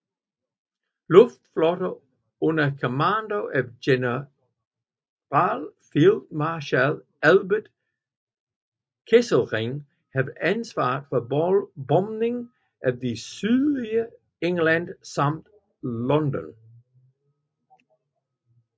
Luftflotte 2 under kommando af Generalfeldmarschall Albert Kesselring havde ansvaret for bombning af det sydøstlige England samt London